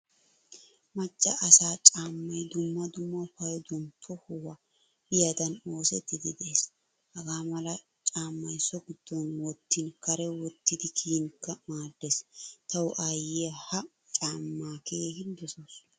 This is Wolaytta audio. Macca asaa caamay dumma dumma payduwaan tohuwaa biyaagadan oosettidi de'ees. Hagaamala caamay so giddon wottin kare wottidi kiyinkka maaddees. Tawu aayiyaa ha caama keehin dosawusu.